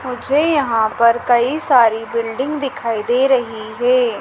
मुझे यहां पर कई सारी बिल्डिंग दिखाई दे रही है।